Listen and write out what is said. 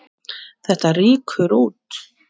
Þetta rýkur út.